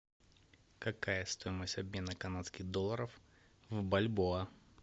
какая стоимость обмена канадских долларов в бальбоа